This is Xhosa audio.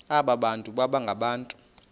abantu baba ngabantu